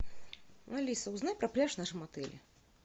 алиса узнай про пляж в нашем отеле